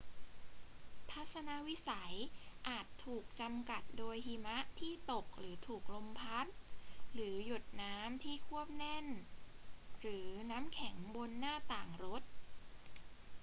ทัศนวิสัยอาจถูกจำกัดโดยหิมะที่ตกหรือถูกลมพัด หรือหยดน้ำที่ควบแน่นหรือน้ำแข็งบนหน้าต่างรถ